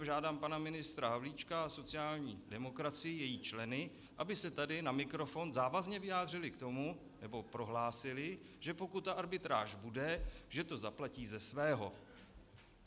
Žádám pana ministra Havlíčka a sociální demokracii, její členy, aby se tady na mikrofon závazně vyjádřili k tomu, nebo prohlásili, že pokud ta arbitráž bude, že to zaplatí ze svého.